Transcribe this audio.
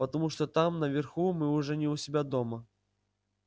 потому что там наверху мы уже не у себя дома